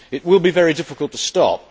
It will be very difficult to stop.